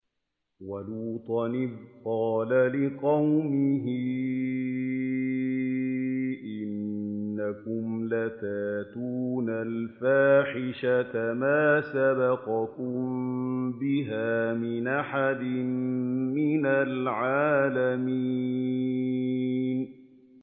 وَلُوطًا إِذْ قَالَ لِقَوْمِهِ إِنَّكُمْ لَتَأْتُونَ الْفَاحِشَةَ مَا سَبَقَكُم بِهَا مِنْ أَحَدٍ مِّنَ الْعَالَمِينَ